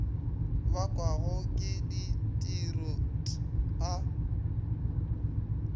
bakwago ke ditiro t a